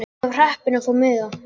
Ég var heppin að fá miða.